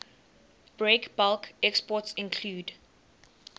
breakbulk exports include